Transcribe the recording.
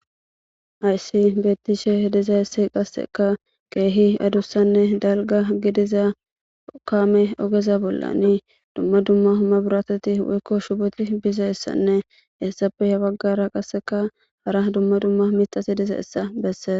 Hayssi beettishe dizayesse qasseka keehi adussanne dalga gidiza kaame ogeza bollani dumma dumma humma biratoti woykko shubeti bizayessanne hessappe ha baggara qasseka hara dumma dumma mixasi diza issa besses.